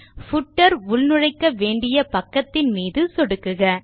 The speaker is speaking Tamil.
பூட்டர் உள்நுழைக்க வேண்டிய பக்கத்தின் மீது சொடுக்குக